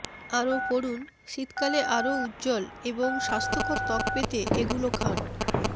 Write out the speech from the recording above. আরও পড়ুন শীতকালে আরও উজ্জ্বল এবং স্বাস্থ্যকর ত্বক পেতে এগুলো খান